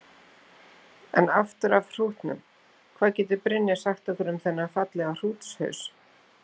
En aftur af hrútunum, hvað getur Brynja sagt okkur um þennan fallega hrútshaus?